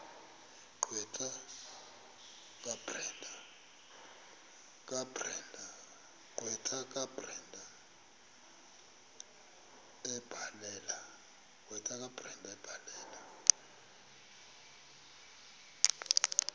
gqwetha kabrenda ebhalela